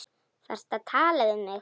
Varstu að tala við mig?